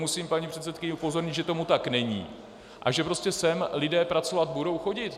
Musím paní předsedkyni upozornit, že tomu tak není a že prostě sem lidé pracovat budou chodit.